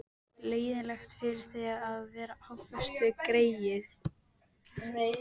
Leiðinlegt fyrir þig að vera á föstu, greyið.